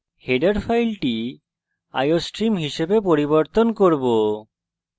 header file iostream হিসাবে পরিবর্তন করব